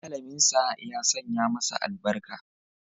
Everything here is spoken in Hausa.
Malaminsa ya sanya masa albarka.